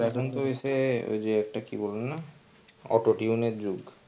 হইসে ওই যে একটা কি বলে না autotune এর যুগ.